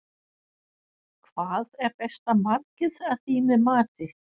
Hvað er besta markið að þínu mati?